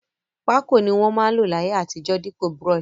Pákò ni won ma n lò láyé àtijó dípò brush